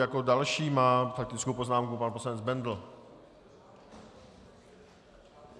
Jako další má faktickou poznámku pan poslanec Bendl.